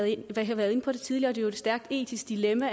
været inde på det tidligere et stærkt etisk dilemma